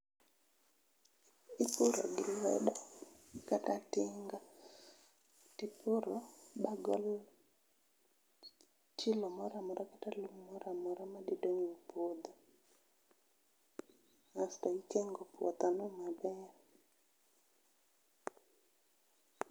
Ipuro gi lwedo, kata tinga tipuro magol chilo moro amora kata lum moro amora madi dong' e puodho asto ikengo puodho no maber